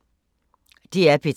DR P3